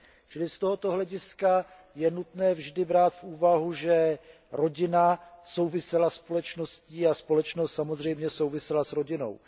Čili z tohoto hlediska je nutné vždy brát v úvahu, že rodina souvisela se společností a společnost samozřejmě souvisela s rodinou.